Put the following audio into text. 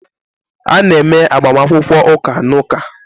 A na-eme agbamakwụkwọ ụka na Ụka